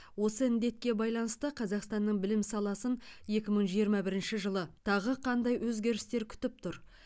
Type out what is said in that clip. осы індетке байланысты қазақстанның білім саласын екі мың жиырма бірінші жылы тағы қандай өзгерістер күтіп тұр